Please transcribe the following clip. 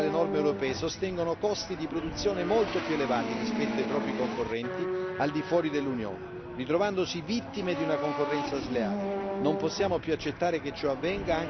I nostri allevatori, nell'adeguarsi alle norme europee, sostengono costi di produzione molto più elevati rispetto ai propri concorrenti al di fuori dell'Unione, ritrovandosi vittime di una concorrenza sleale.